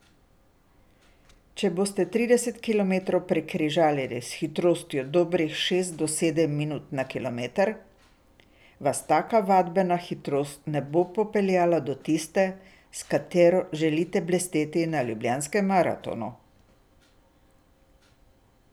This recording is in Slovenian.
Če boste trideset kilometrov prekrižarili s hitrostjo dobrih šest do sedem minut na kilometer, vas taka vadbena hitrost ne bo popeljala do tiste, s katero želite blesteti na Ljubljanskem maratonu!